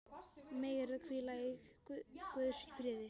Megirðu hvíla í Guðs friði.